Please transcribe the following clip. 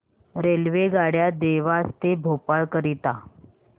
रेल्वेगाड्या देवास ते भोपाळ करीता